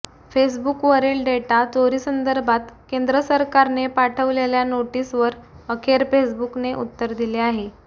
फेसबुकवरील data चोरीसंदर्भात केंद्र सरकारने पाठवलेल्या नोटीसवर अखेर फेसबुकने उत्तर दिले आहे